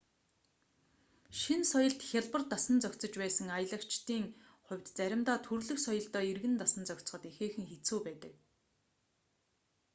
шинэ соёлд хялбар дасан зохицож байсан аялагчдын хувьд заримдаа төрөлх соёлдоо эргэн дасан зохицоход ихээхэн хэцүү байдаг